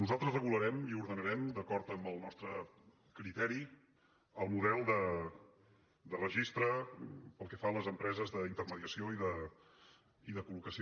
nosaltres regularem i ordenarem d’acord amb el nostre criteri el model de registre pel que fa a les empreses d’intermediació i de col·locació